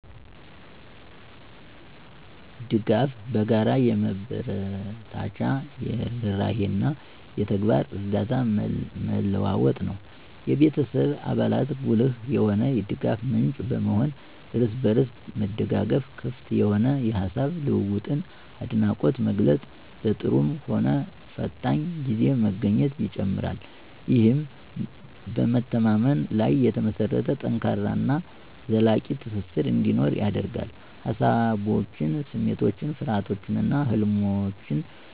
ድጋፍ በጋራ የመበረታቻ፣ የርህራሄ እና የተግባር እርዳታ መለዋወጥ ነው። የቤተሰብ አባላት ጉልህ የሆነ የድጋፍ ምንጭ በመሆን፣ እርስ በርስ መደጋገፍ፣ ክፍት የሆነ የሐሳብ ልውውጥን፣ አድናቆት መግለፅን፣ በጥሩም ሆነ ፈታኝ ጊዜ መገኘትን ይጨምራል። ይህም በመተማመን ላይ የተመሰረተ ጠንካራ እና ዘላቂ ትስስር እንዲኖር ያደርጋል። ሃሳቦችን፣ ስሜቶችን፣ ፍርሃቶችን እና ህልሞችን